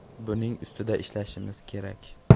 Buning ustida ishlashimiz kerak.